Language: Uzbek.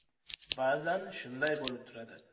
Ba’zan shunday bo‘lib turadi.